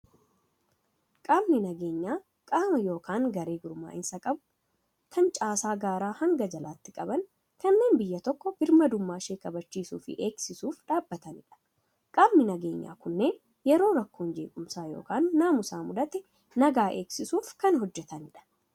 Qaamni nageenyaa, qaama yookaan garee gurmaa'insa qabu, kan caasaa gaaraa hanga jalaatti qaban, kanneen biyya tokko birmadummaa ishee kabachiisuu fi eegsisuuf dhaabbatanidha. Qaamni nageenyaa kunneen yeroo rakkoon jeequmsaa yookaan naamusaa mudate nagaa eegsisuuf kan hojjetamudha.